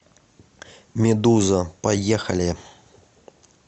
медуза поехали